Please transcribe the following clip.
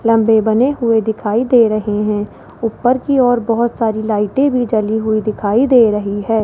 लंबे बने हुए दिखाई दे रहे हैं ऊपर की ओर बहोत सारी लाइटें भी जली हुई दिखाई दे रही है।